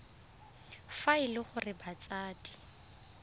fa e le gore batsadi